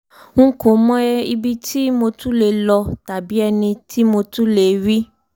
n n kò mọ ibi tí mo tún lè lọ tàbí ẹni tí mo tún lè rí